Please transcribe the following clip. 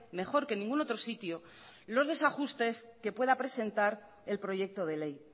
mejor que en ningún otro sitio los desajustes que pueda presentar el proyecto de ley